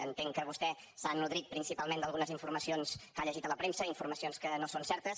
entenc que vostè s’ha nodrit principalment d’algunes informacions que ha llegit a la premsa informacions que no són certes